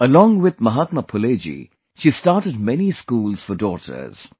Along with Mahatma Phule ji, she started many schools for daughters